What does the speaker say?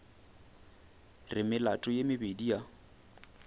re melato ye mebedi ya